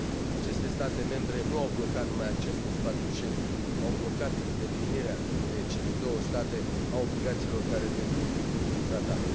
Aceste state membre nu au blocat numai accesul în spațiul Schengen au blocat îndeplinirea de cele două state a obligațiilor care decurg din tratat.